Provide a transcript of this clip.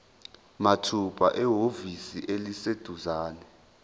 mathupha ehhovisi eliseduzane